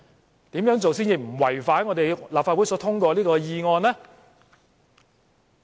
她要怎樣做，才能不違反立法會所通過的議案呢？